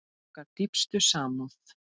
Okkar dýpstu samúð.